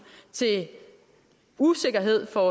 usikkerhed for